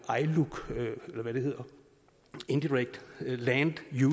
iluc indirect land